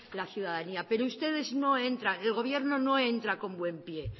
la ciudadanía pero ustedes no entran el gobierno no entra con buen pie